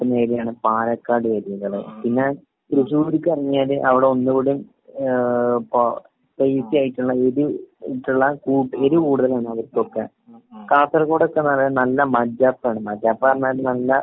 കിട്ടുന്ന ഏരിയാണ് പാലക്കാട്‌ ഏരിയായല്ലേ? പിന്നെ തൃശ്ശൂരിക്ക് ഇറങ്ങിയല് അവിടെ ഒന്നുകൂടി ഏഹ് ഇപ്പൊ സ്‌പൈസി ആയിട്ടുള്ള എരി ആയിട്ടുള്ള എരി കൂടുതലാണ് അവിടത്തെ ഒക്കെ. കാസർകോട് ഒക്കെന്ന് പറഞ്ഞ നല്ല മജാപ്പാണ്. മജാപ്പാന്ന് പറഞ്ഞ നല്ല